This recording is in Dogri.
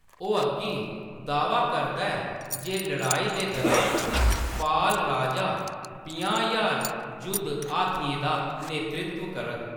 ओह्‌‌ अग्गें दाह्‌वा करदा ऐ जे लड़ाई दे दुरान, पाल राजा पंजाह् ज्हार जुद्ध हाथियें दा नेतृत्व करग।